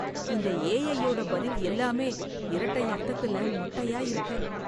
இந்த ஏ.ஐ. யோட பதில் எல்லாமே, இரட்டை அர்த்தத்துல மொட்டயா இருக்கு